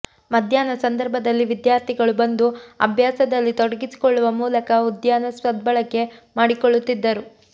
ಮಧ್ಯಾಹ್ನ ಸಂದರ್ಭದಲ್ಲಿ ವಿದ್ಯಾರ್ಥಿಗಳು ಬಂದು ಅಭ್ಯಾಸದಲ್ಲಿ ತೊಡಗಿಸಿಕೊಳ್ಳುವ ಮೂಲಕ ಉದ್ಯಾನ ಸದ್ಬಳಕೆ ಮಾಡಿಕೊಳ್ಳುತ್ತಿದ್ದರು